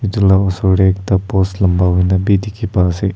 etu la oser te ekta post lamba hoi ne bi dikhi pa ase.